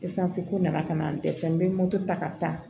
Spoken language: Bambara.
ko nana ka na n dɛsɛ n bɛ moto ta ka taa